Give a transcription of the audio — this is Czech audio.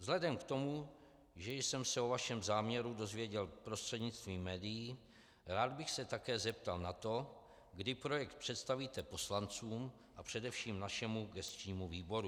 Vzhledem k tomu, že jsem se o vašem záměru dozvěděl prostřednictvím médií, rád bych se také zeptal na to, kdy projekt představíte poslancům a především našemu gesčnímu výboru.